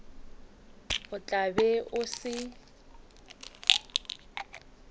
o tla be o se